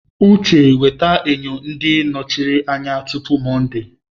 Uche weta enyo ndị nọchiri anya tupu Mọnde!